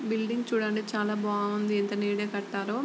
building చూడండి ఎంత చాలా బాగుంది ఎంత నీటుగా కట్టారో --